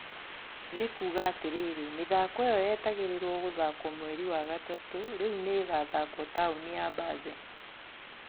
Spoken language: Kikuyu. Nĩ kuuga atirĩrĩ mĩthako ĩyo yetagĩrirwo gũthakwo mweri wa gatatũ rĩu nĩ ĩgũthakwo taũni ya Baze